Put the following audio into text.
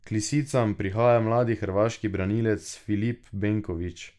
K lisicam prihaja mladi hrvaški branilec Filip Benković.